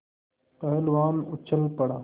पहलवान उछल पड़ा